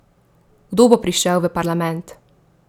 Kdo bo prišel v parlament?